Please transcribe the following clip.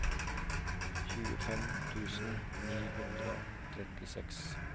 tjuefem tusen ni hundre og trettiseks